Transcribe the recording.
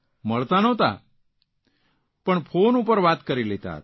મળતા નહોંતા ફોન પર વાત કરી લેતા હતા